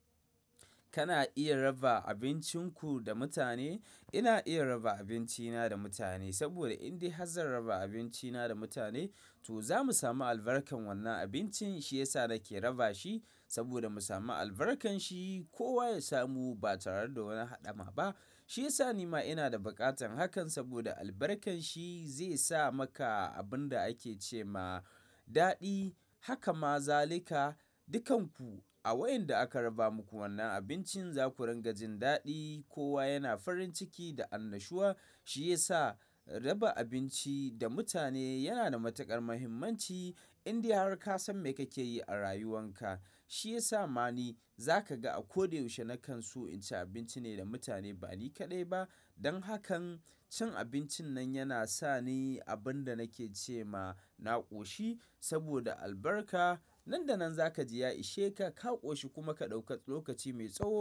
Kana iya raba abincinku da mutane. Ina iya raba abincina da mutane saboda in dai Hazzan raba abinci na da mutane to zamu samu albarkar wannan abincin. Shi yasa nake raba shi saboda mu samu albarkar shi. Kowa ya samu ba tare da wani haɗama ba. Shi yasa ni ma ina da baƙatan hakan saboda albarkar shi zai sa maka abin da ake ce ma daɗi. Haka ma zalika, dukanku a wayen da aka raba muku wannan abincin zaku rungajin daɗi. Kowa yana farin ciki da annashuwa. Shi yasa raba abinci da mutane yana da matuƙar muhimmanci. In dai har ka san me kake yi a rayuwan ka, shi yasa ma ni za ka ga a ko da yaushe na kan so in ci abinci ne da mutane ba ni kaɗai ba. Don hakan cin abincin nan yana sa ni abin da nake ce ma na ƙoshi saboda albarka. Nan da nan za ka ji ya ishe ka, ka ƙoshi kuma ka ɗauka lokaci mai tsawo.